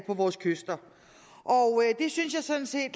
vores kyster det synes jeg sådan set